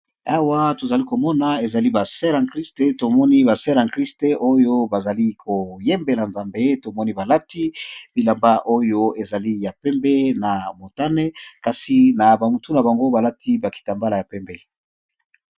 Awa to zali ko mona ezali ba soeurs en christ, to moni ba soeurs en christ oyo ba zali ko yembela nzambe, to moni ba lati bilamba oyo ezali ya pembe na motane kasi na ba mutu na bango ba lati ba kitambala ya pembe .